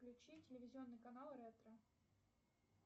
включи телевизионный канал ретро